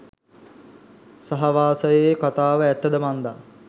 සහවාසයේ කතාව ඇත්තද මන්ද.